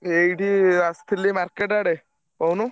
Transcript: ଏଇଠି ଆସଥିଲି market ଆଡେ କହୁନୁ।